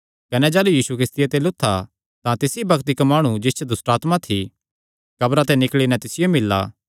कने जाह़लू यीशु किस्तिया ते लुत्था तां तिसी बग्त इक्क माणु जिस च दुष्टआत्मा थी कब्रां ते निकल़ी नैं तिसियो मिल्ला